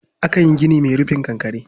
Akan yi gini mai rufin kankare.